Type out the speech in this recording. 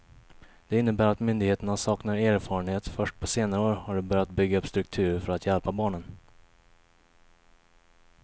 Det innebär att myndigheterna saknar erfarenhet, först på senare år har de börjat bygga upp strukturer för att hjälpa barnen.